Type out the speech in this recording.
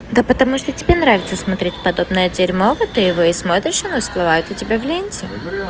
да потому что тебе нравится смотреть подобная дего и смотришь она всплывает у тебя в ленте